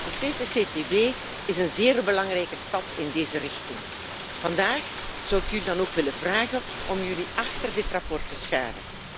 De CCCTB is een zeer belangrijke stap in deze richting. Vandaag zou ik jullie dan ook willen vragen om jullie achter dit verslag te scharen.